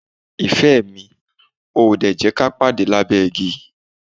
Ìfẹ́ mi, o ò ò dè jẹ́ ka pàde lábẹ́ igi?